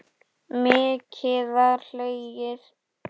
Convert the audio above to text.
Mikið var hlegið.